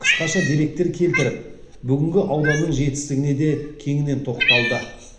қысқаша деректер келтіріп бүгінгі ауданның жетістігіне де кеңінен тоқталды